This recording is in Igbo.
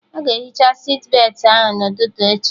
Aga ehicha sitbetị ahụ n'ụtụtụ echi